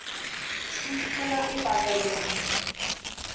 Stúlkuna í bakaríinu.